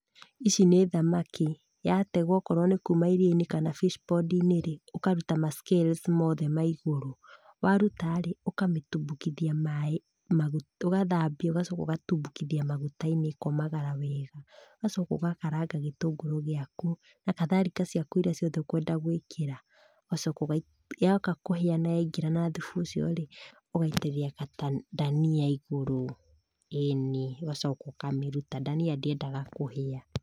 Ici nĩ thamaki. O korwo nĩkuma iria-inĩ kana fish ponds-inĩrĩ, ũkaruta ma scales mothe maigũrũ. Warutaĩ, ũkamĩtumbukithia maĩinĩ, ũgathambia arabu ũkamĩtumbukithia maguta-inĩ ĩkomagara wega, ũgacoka ũgakaranga gĩtũngũrũ gĩaku, nakatharika ciaku iria ciothe ũkwenda gũĩkĩra , ũgacoka ũgaikia, yoka kũhĩa na yaingĩrana thubu ũciorĩ, ũgaitĩrĩria ndania igũrũ. ĩni ũgacoka ũkamĩruta. Ndania ndĩendaga kũhĩa.